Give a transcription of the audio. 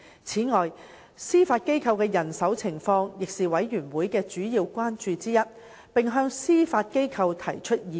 此外，司法機構的人手情況亦是事務委員會的主要關注之一，並向司法機構提出意見。